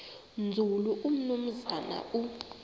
nzulu umnumzana u